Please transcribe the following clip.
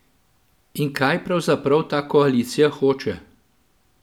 In kaj pravzaprav ta koalicija hoče?